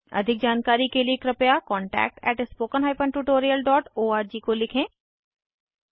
अधिक जानकारी के लिए कृपया contactspoken tutorialorg को लिखें